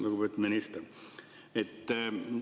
Lugupeetud minister!